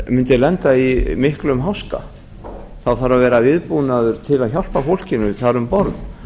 mundi lenda í miklum háska þá þarf að vera viðbúnaður til að hjálpa fólkinu þar um borð